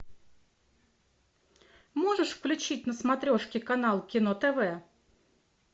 можешь включить на смотрешке канал кино тв